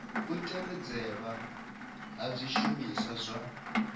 u tevhedzelwa ha zwishumiswa zwa